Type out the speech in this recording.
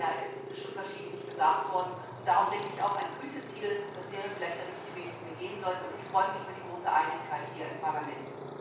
Das ist schon verschiedentlich gesagt worden, und deshalb denke ich auch, ein Gütesiegel wäre vielleicht der richtige Weg, den wir gehen sollten, und ich freue mich über die große Einigkeit hier im Parlament.